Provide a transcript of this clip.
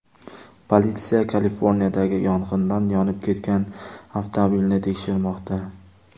Politsiya Kaliforniyadagi yong‘inda yonib ketgan avtomobilni tekshirmoqda.